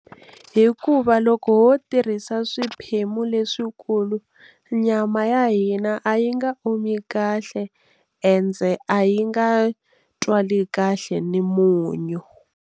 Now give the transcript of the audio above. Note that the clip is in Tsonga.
Hikuva loko wo tirhisa swiphemu leswikulu nyama ya hina a yi nga omi kahle ende a yi nga twali kahle ni munyu.